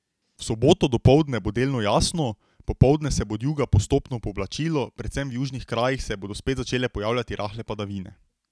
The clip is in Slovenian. V soboto dopoldne bo delno jasno, popoldne se bo od juga postopno pooblačilo, predvsem v južnih krajih se bodo spet pričele pojavljati rahle padavine.